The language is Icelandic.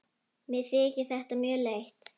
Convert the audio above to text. Mér þykir þetta mjög leitt.